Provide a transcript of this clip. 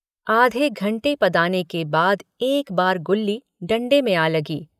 आधे घण्टे पदाने के बाद एक बार गुल्ली डण्डे में आ लगी।